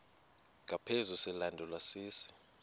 ngaphezu silandelwa sisi